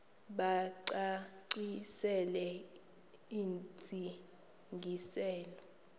bacacisele intsi ngiselo